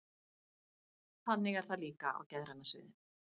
Þannig er það líka á geðræna sviðinu.